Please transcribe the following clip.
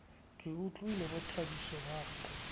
ke utlwile bothabiso ba re